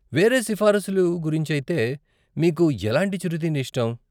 వేరే సిఫారసులు గురించైతే, మీకు ఎలాంటి చిరు తిండి ఇష్టం?